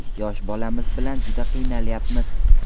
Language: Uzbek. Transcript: Yosh bolamiz bilan juda qiynalyapmiz.